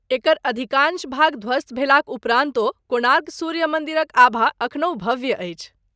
एकर अधिकाँश भाग धवस्त भेलाक उपरान्तो, कोणार्क सूर्य मन्दिरक आभा अखनहु भव्य अछि।